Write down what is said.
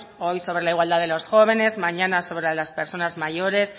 hoy sobre la igualdad de los jóvenes mañana sobre las personas mayores